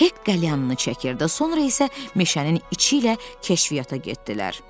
Hek qəlyanını çəkirdi, sonra isə meşənin içi ilə kəşfiyyata getdilər.